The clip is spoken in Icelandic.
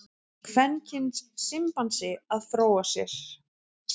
Kvenkyns simpansi að fróa sér.